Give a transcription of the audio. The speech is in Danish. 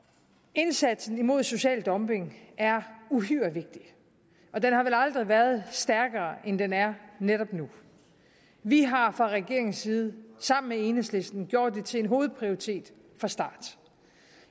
indsatsen mod social dumping er uhyre vigtig og den har vel aldrig været stærkere end den er netop nu vi har fra regeringens side sammen med enhedslisten gjort det til en hovedprioritet fra starten